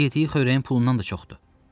Yediyi xörəyin pulundan da çoxdur.